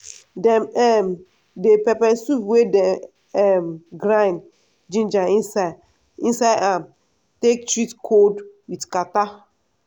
dem um dey pepper soup wey dem um grind ginger inside am um take treat kold with katarrh.